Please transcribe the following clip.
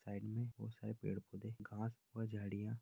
side में बहोत सारे पेड़ पौधे घांस और झाड़ियाँ --